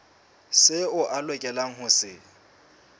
seo a lokelang ho se